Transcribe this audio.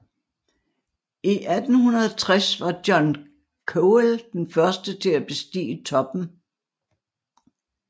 I 1860 var John Cowell den første til at bestige toppen